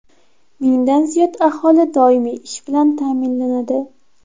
Mingdan ziyod aholi doimiy ish bilan ta’minlanadi.